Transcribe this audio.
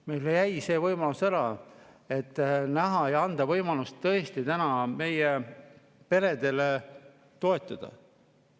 Meil jäi see võimalus ära, et anda võimalus tõesti täna meie peresid toetada.